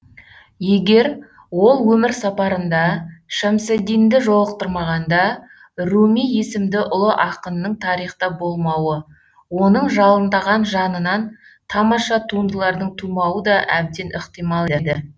егер ол өмір сапарында шәмсаддинді жолықтырмағанда руми есімді ұлы ақынның тарихта болмауы оның жалындаған жанынан тамаша туындылардың тумауы да әбден ықтимал еді